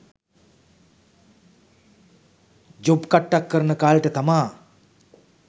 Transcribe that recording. job කට්ටක් කරන කාලෙට තමා